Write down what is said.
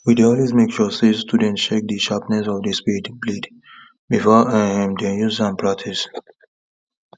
we dey always make sure say student check the sharpness of the spade blade before um them use am practice